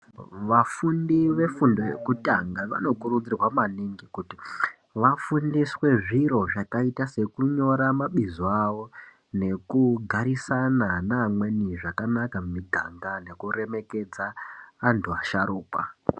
Vafundi ve fundo yekutanga vano kurudzirwa maningi kuti vafundiswe zviro zvakaita seku nyora mabizo awo neku garisana ne amweni zvakanaka mu miganga neku remekedza antu asharukwa.